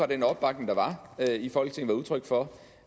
den opbakning der var i folketinget var udtryk for